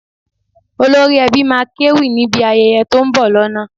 Olórí Ẹbí máa kéwì níbi ayẹyẹ tó ń bọ̀ lọ́nà